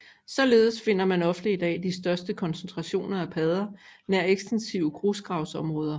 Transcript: Således finder man ofte i dag de største koncentrationer af padder nær ekstensive grusgravsområder